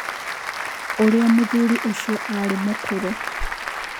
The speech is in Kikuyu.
ũrĩa mũthuri ũcio arĩ mũkũrũ